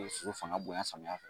soso fanga bonya samiyan